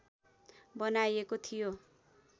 बनाइएको थियो